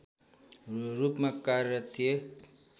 रूपमा कार्यरत थिए